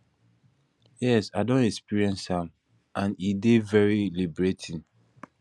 yes i don experience am and e dey very liberating